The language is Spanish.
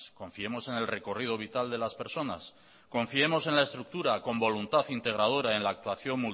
confiemos en el recorrido vital de las personas confiemos en la estructura con voluntad integradora en la actuación